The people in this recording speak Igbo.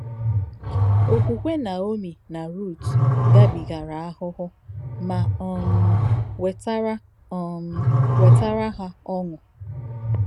Òkwùkwè Naomi nà Rút gàbìgàrā àhùhù mà um wètàrā um wètàrā hà ọ̀ṅụ̀.